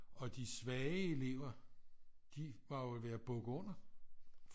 Og de svage elever de var jo ved at bukke under